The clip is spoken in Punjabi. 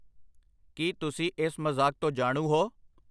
ਕੀ ਤੁਸੀਂ ਇਸ ਮਜ਼ਾਕ ਤੋਂ ਜਾਣੂ ਹੋ?